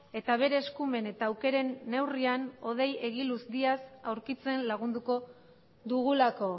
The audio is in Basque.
eta bere eskumen eta aukeren neurrian hodei egiluz díaz aurkitzen lagunduko dugulako